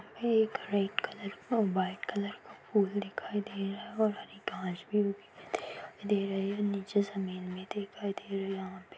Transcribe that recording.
एक red colour का white colour का फूल दिखाई दे रहा है और हरी घास भी दे रही है नीचे जमीन भी दिखाई दे रही है यहाँ पे।